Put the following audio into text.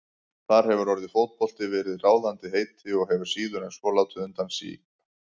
Þar hefur orðið fótbolti verið ráðandi heiti og hefur síður en svo látið undan síga.